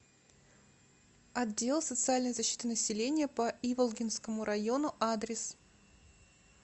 отдел социальной защиты населения по иволгинскому району адрес